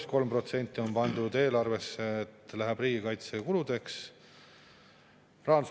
Ettevõtete maksustamisel jäid ainult pangad välja ja selle vähesel määral lisanduva raha laekumisega võetakse inimestelt veel raha ära.